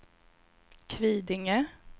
Kvidinge